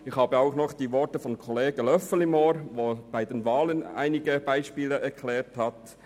Ich habe noch die Worte des Kollegen Löffel im Ohr, anlässlich welcher er einige Beispiele zu den Wahlen erklärte.